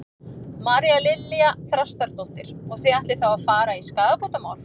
María Lilja Þrastardóttir: Og þið ætlið þá að fara í skaðabótamál?